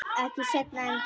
Ekki seinna en tíu.